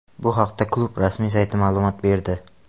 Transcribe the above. Bu haqda klub rasmiy sayti ma’lumot berdi .